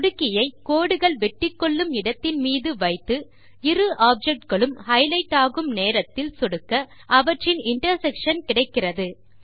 சொடுக்கியை கோடுகள் வெட்டிக்கொள்ளும் இடத்தின் மீது வைத்து இரு ஆப்ஜெக்ட் களும் ஹைலைட் ஆகும் நேரத்தில் சொடுக்க அவற்றின் இன்டர்செக்ஷன் கிடைக்கிறது